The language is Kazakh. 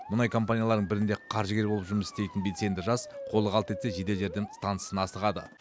мұнай компанияларының бірінде қаржыгер болып жұмыс істейтін белсенді жас қолы қалт етсе жедел жәрдем стансасына асығады